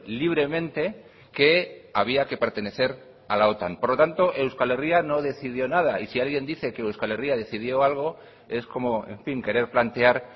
libremente que había que pertenecer a la otan por lo tanto euskal herria no decidió nada y si alguien dice que euskal herria decidió algo es como en fin querer plantear